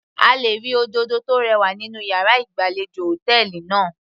A lè rí òdòdó tó rẹwà nínú yàrá ìgbàlejò hòtẹ́ẹ̀lì náà.